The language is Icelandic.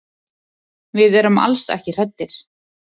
Við erum alls ekki hræddir.